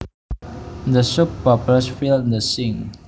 The soap bubbles filled the sink